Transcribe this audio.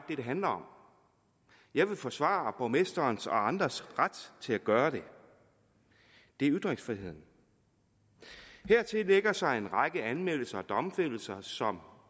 handler om jeg vil forsvare borgmesterens og andres ret til at gøre det det er ytringsfriheden hertil lægger sig en række anmeldelser og domfældelser som